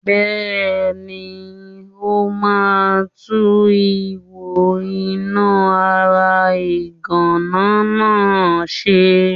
Bẹ́ẹ̀ni, ó ma tún ihò iná ara ìgànná náá ṣe.